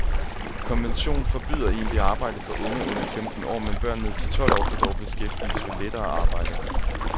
Konvention forbyder egentligt arbejde for unge under femten år, men børn ned til tolv år kan dog beskæftiges ved lettere arbejde.